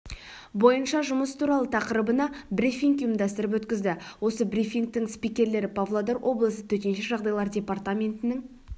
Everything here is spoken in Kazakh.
бойынша жұмыс туралы тақырыбына брифинг ұйымдастырып өткізді осы брифингтің спикерлері павлодар облысы төтенше жағдайлар департаментінің